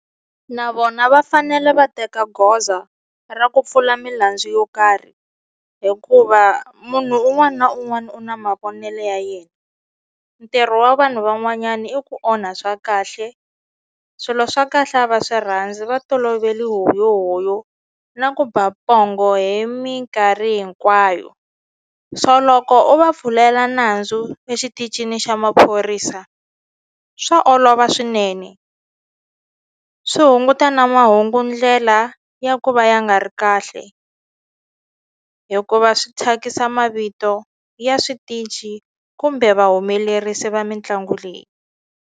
Na vona va fanele va teka goza ra ku pfula milandzu yo karhi hikuva munhu un'wani na un'wani u na mavonelo ya yena ntirho wa vanhu van'wanyani i ku onha swa kahle swilo swa kahle a va swi rhandzi va tolovele huyohoyo na ku ba pongo hi minkarhi hinkwayo so loko u va pfulela nandzu exitichini xa maphorisa swa olova swinene swi hunguta na mahungu ndlela ya ku va ya nga ri kahle hikuva swi thyakisa mavito ya switichi kumbe vahumelerisi va mitlangu leyi.